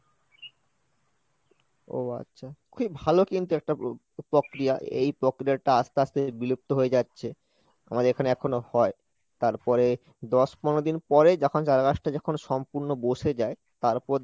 ও আচ্ছা খুব ভালো কিন্তু একটা প্~ প্রক্রিয়া এই প্রক্রিয়াটা আস্তে আস্তে বিলুপ্ত হয়ে যাচ্ছে, আমাদের এখানে এখনো হয়, তারপরে দশ পনেরো দিন পরে যখন চারা গাছটা যখন সম্পূর্ণ বসে যায় তারপর